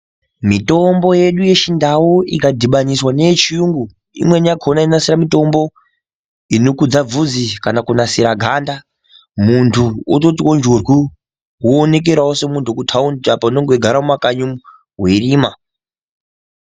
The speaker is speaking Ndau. Mitombo yedu yechindau ikadhibaniswa neye chiyungu imweni yachona inonasira mutombo inokudza bvudzi kana kunasira ganda muntu ototiwo njurwu woonekerawo semuntu weku thaundi apa unenge weigare mumakanyi umwu weirima.